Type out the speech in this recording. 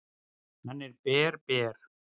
"""Hann er ber, ber."""